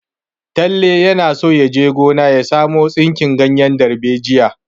Talle yana so ya je gona ya samo tsinki ganyen darbejiya.